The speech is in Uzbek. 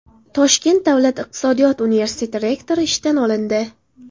Toshkent davlat iqtisodiyot universiteti rektori ishdan olindi.